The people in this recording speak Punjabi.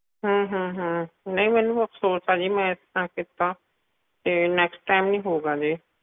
ਹਮ ਹਮ ਹਮ ਨਹੀਂ ਮੈਨੂੰ ਅਫਸੋਸ ਆ ਜੀ ਮੈਂ ਇਸ ਤਰ੍ਹਾਂ ਕੀਤਾ ਤੇ next time ਨਹੀਂ ਹੋਊਗਾ ਜੀ